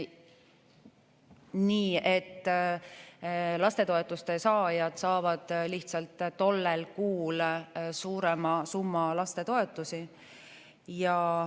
Nii et lastetoetuste saajad saavad lihtsalt tollel kuul suurema summa lastetoetust.